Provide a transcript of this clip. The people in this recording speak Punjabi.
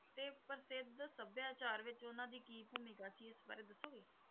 ਤੇ ਪ੍ਰਸਿੱਧ ਸਭਿਆਚਾਰ ਵਿੱਚ ਉਹਨਾਂ ਦੀ ਕੀ ਭੂਮਿਕਾ ਸੀ, ਇਸ ਬਾਰੇ ਦੱਸੋਗੇ।